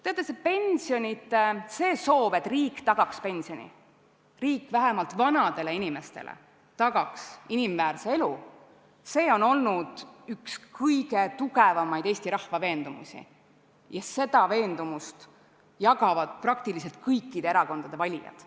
Teate, see soov, et riik tagaks pensioni, et riik vähemalt vanadele inimestele tagaks inimväärse elu, on olnud üks kõige tugevamaid eesti rahva soove ja seda jagavad kõikide erakondade valijad.